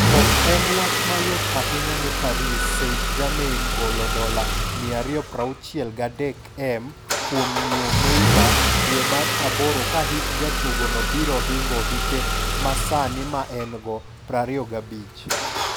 Ok en wach mayot ahinya ne Paris Saint-Germain golo $263m kuom nyiew Neymar dwe mar aboro ka hik jatugo no biro hingo hike masani maen go, 25.